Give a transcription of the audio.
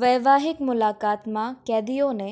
વૈવાહિક મુલાકાતમાં કેદીઓને